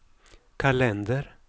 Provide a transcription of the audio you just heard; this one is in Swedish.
kalender